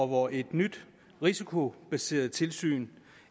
hvor et nyt risikobaseret tilsyn